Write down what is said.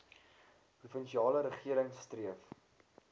provinsiale regering streef